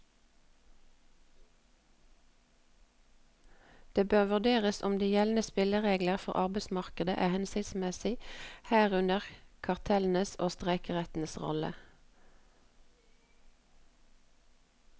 Den bør vurdere om de gjeldende spilleregler for arbeidsmarkedet er hensiktsmessige, herunder kartellenes og streikerettens rolle.